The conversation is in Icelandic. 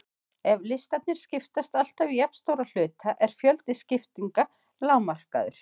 Ef listarnir skiptast alltaf í jafnstóra hluta er fjöldi skiptinga lágmarkaður.